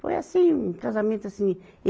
Foi assim, um casamento assim.